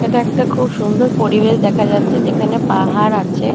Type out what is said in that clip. এটা একটা খুব সুন্দর পরিবেশ দেখা যাচ্ছে যেখানে পাহাড় আছে।